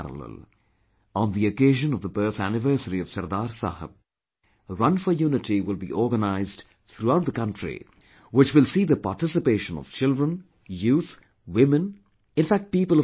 On the occasion of the birth anniversary of Sardar Sahab, Run for Unity will be organized throughout the country, which will see the participation of children, youth, women, in fact people of all age groups